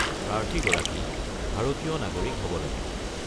প্ৰাৰ্থীগৰাকী ভাৰতীয় নাগৰিক হ'ব লাগিব।